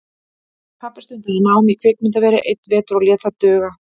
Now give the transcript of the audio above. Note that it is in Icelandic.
Pabbi stundaði nám í kvikmyndaveri einn vetur og lét það duga.